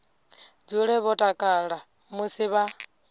dzule vho takala musi vha